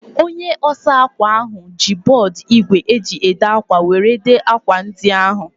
Onye osa akwa ahu ji bọọdu igwe e ji ede akwa were dee akwa ndi ahu